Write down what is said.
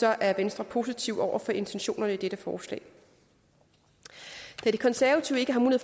er venstre positive over for intentionerne i dette forslag da de konservative ikke har